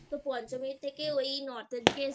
তো পঞ্চমীর থেকে ওই North এর দিকে